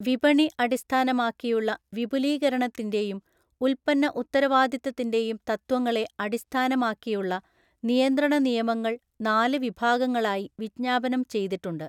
വിപണി അടിസ്ഥാനമാക്കിയുള്ള വിപുലീകരണത്തിന്റെയും ഉൽപ്പന്ന ഉത്തരവാദിത്തത്തിന്റെയും തത്വങ്ങളെ അടിസ്ഥാനമാക്കിയുള്ള നിയന്ത്രണ നിയമങ്ങൾ നാല് വിഭാഗങ്ങളായി വിജ്ഞാപനം ചെയ്തിട്ടുണ്ട്.